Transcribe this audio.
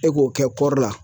E k'o kɛ kɔri la.